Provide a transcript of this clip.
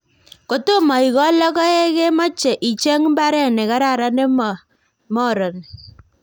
Kotomo ikol logoekmache icheng mbaret ne karan nemo moroni